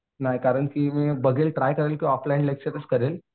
नाही कारण की मी बघेल ट्राय करेल की ऑफलाईन लेक्चरच करेल.